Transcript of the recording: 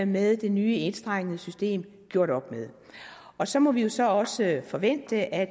med det nye enstrengede system gjort op med og så må vi så også forvente at